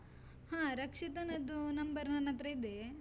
ಹ, ರಕ್ಷಿತನದ್ದು number ನನ್ನತ್ರ ಇದೆ.